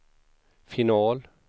final